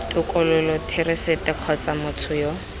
tokololo therasete kgotsa motho yo